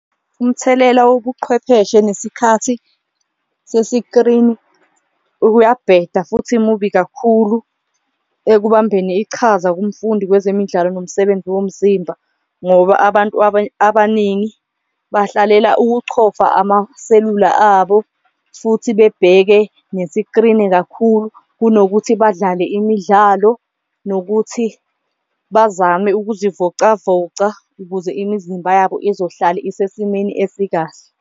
Umthelela wobuqhwepheshe nesikhathi sesikrini uyabheda futhi mubi kakhulu ekubambeni ichaza kumfundi kwezemidlalo nomsebenzi womzimba, ngoba abantu abaningi bahlalela ukuchofa amaselula abo futhi bebheke nesikrini kakhulu. Kunokuthi badlale imidlalo nokuthi bazame ukuzivocavoca ukuze imizimba yabo izohlale isesimeni esikahle.